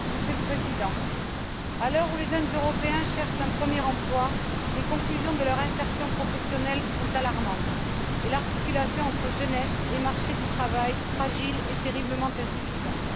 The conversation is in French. Monsieur le Président, à l'heure où les jeunes Européens cherchent un premier emploi, le bilan de leur insertion professionnelle est alarmant, et l'articulation entre jeunesse et marché du travail fragile et terriblement insuffisante.